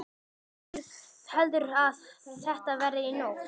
Hvernig heldurðu að þetta verði í nótt?